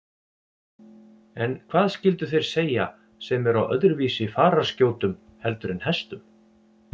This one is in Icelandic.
En hvað skyldu þeir segja sem eru á öðruvísi fararskjótum heldur en hestum?